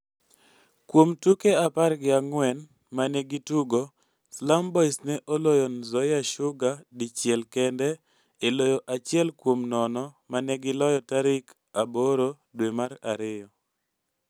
Kuom tuke apar gi ang'wen ma ne gitugo, Slum Boys ne oloyo Nzoia Sugar dichiel kende e loyo achiel kuom nono ma ne giloyo tarik 8 due mar ariyo.